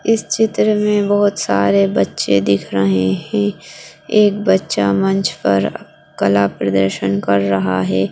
इस चित्र में बहुत सारे बच्चे दिख रहे हैं एक बच्चा मंच पर कला प्रदर्शन कर रहा है।